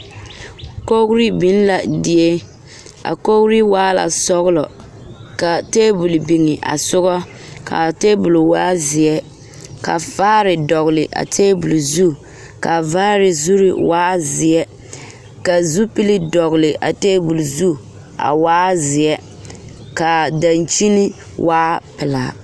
Kogri biŋ la die a kogri waa la sɔgelɔ kaa taabol biŋ a soga kaa taabol waa zeɛ ka vaare dɔgele a taabol zu kaa vaare zu waa zeɛ ka zupili dɔgele a taabol zu a waa zeɛ kaa dankyini waa pelaa